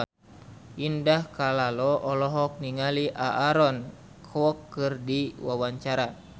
Indah Kalalo olohok ningali Aaron Kwok keur diwawancara